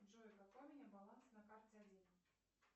джой какой у меня баланс на карте один